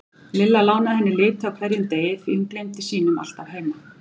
Lilla lánaði henni liti á hverjum degi því hún gleymdi sínum alltaf heima.